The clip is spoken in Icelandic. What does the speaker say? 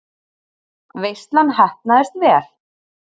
Veislan heppnaðist vel.